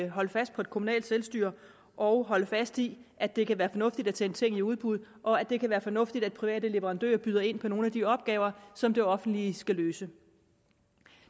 holde fast på det kommunale selvstyre og holde fast i at det kan være fornuftigt at sende ting i udbud og at det kan være fornuftigt at private leverandører byder ind på nogle af de opgaver som det offentlige skal løse